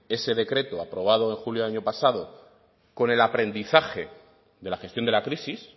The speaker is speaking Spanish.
ese decreto aprobado en julio del año pasado con el aprendizaje de la gestión de la crisis